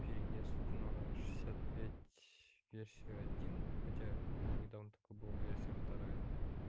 переезд на шестьдесят пять версию один хотя вот недавно только была версия вторая